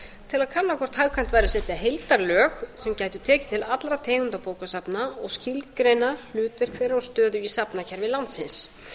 til að kanna hvort hagkvæmt væri að setja heildarlög sem gætu tekið til allra tegunda bókasafna og skilgreina hlutverk þeirra og stöðu í safnakerfi landsins